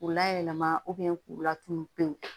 K'u layɛlɛma k'u latunu pewu